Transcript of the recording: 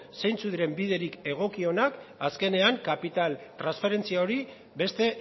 zeintzuk diren biderik egokienak azkenean kapital transferentzia hori beste